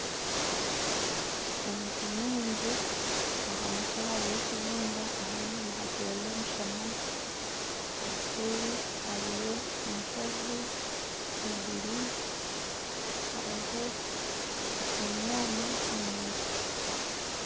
Emiti mingi aha mutwe hariho ekibunda ahandi nihaterwa omushana obuseeri hariyo enshozi , iguru hariho emyanya omu miti.